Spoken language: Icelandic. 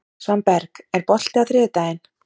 Svanberg, er bolti á þriðjudaginn?